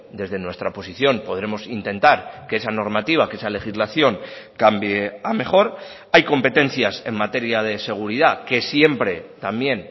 desde nuestra posición podremos intentar que esa normativa que esa legislación cambie a mejor hay competencias en materia de seguridad que siempre también